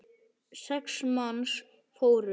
Sex manns fórust.